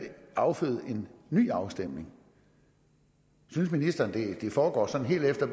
afføde en ny afstemning synes ministeren at det foregår sådan helt efter